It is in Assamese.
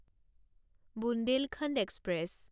বুন্দেলখণ্ড এক্সপ্ৰেছ